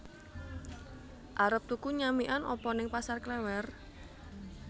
Arep tuku nyamikan apa ning Pasar Klewer?